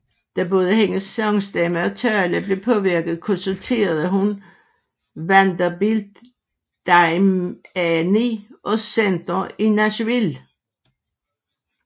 Da både hendes sangstemme og tale blev påvirket konsulterede hun Vanderbilt Dayani Center i Nashville